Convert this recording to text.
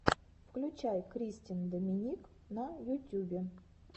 включай кристен доминик на ютюбе